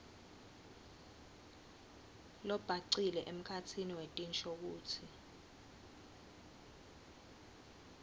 lobhacile emkhatsini wetinshokutsi